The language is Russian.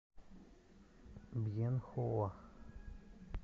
бьенхоа